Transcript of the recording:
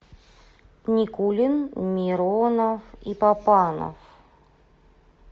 никулин миронов и папанов